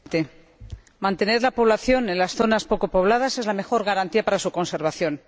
Señor Presidente, mantener la población en las zonas poco pobladas es la mejor garantía para su conservación.